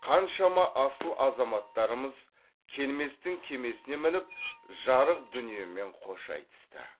қаншама асыл азаматтарымыз келместің кемесіне мініп жарық дүниемен қош айтысты